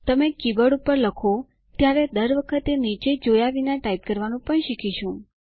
તમે કીબોર્ડ પર લખો ત્યારે દર વખતે નીચે જોયા વિના ટાઇપ કરવાનું પણ શીખીશું